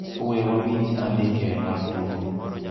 We wawinj andike mar tugo